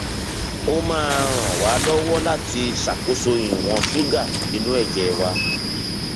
ó máa ń ràn wá lọwọ láti ṣàkóso ìwọn ṣúgà inú ẹjẹ wa